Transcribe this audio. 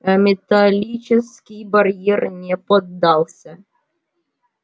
ээ металлический барьер не поддался